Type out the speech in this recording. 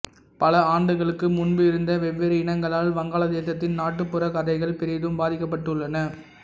பல ஆண்டுகளுக்கு முன்பு இருந்த வெவ்வேறு இனங்களால் வங்காளதேசத்தின் நாட்டுப்புறக் கதைகள் பெரிதும் பாதிக்கப்பட்டுள்ளன